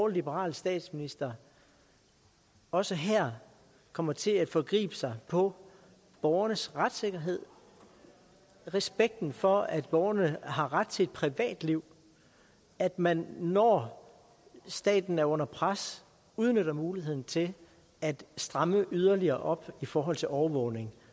liberal statsminister også her kommer til at forgribe sig på borgernes retssikkerhed respekten for at borgerne har ret til et privatliv at man når staten er under pres udnytter muligheden til at stramme yderligere op i forhold til overvågning